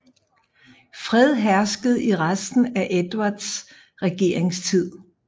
Fred herskede i resten af Edvards regeringstid